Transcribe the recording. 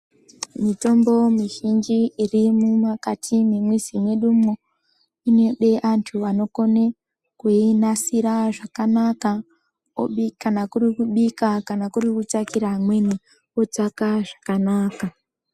Mutombo mizhinji iri mukati mwemizi mwedumwo inode antu anokone kuinasira zvakanaka obika kana kuri kubika kana kuri kutsvakira amweni otsvaka zvakanaka.